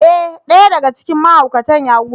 Ee! ɗaya daga cikin mahaukatan ya gudu.